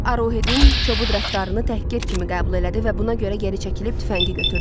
Müür Arohedin kobud rəftarını təhqir kimi qəbul elədi və buna görə geri çəkilib tüfəngi götürdü.